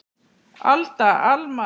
Alda, Alma.